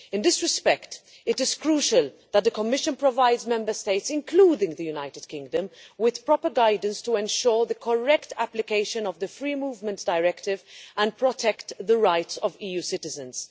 In this respect, it is crucial that the Commission provides Member States, including the United Kingdom, with proper guidance to ensure the correct application of the Free Movement Directive and protect the rights of EU citizens.